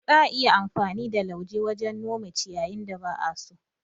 Za'a iya yin amfani da lauje wajen nome ciyYin da ba'a so.